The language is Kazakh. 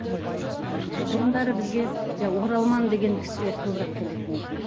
ммм бұрындары бізге оралман деген кісілер көбірек келетін еді